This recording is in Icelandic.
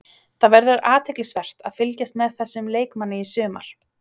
Það verður athyglisvert að fylgjast með þessum leikmanni í sumar.